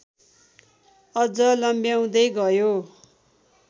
अझ लम्ब्याउँदै गयो।